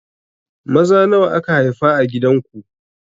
Maza nawa aka haifa a gidan ku?